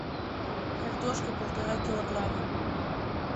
картошка полтора килограмма